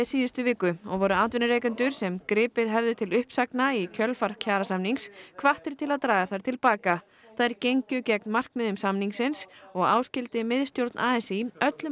síðustu viku og voru atvinnurekendur sem gripið hefðu til uppsagna í kjölfar kjarasamnings hvattir til að draga þær til baka þær gengju gegn markmiðum samningsins og áskildi miðstjórn a s í öllum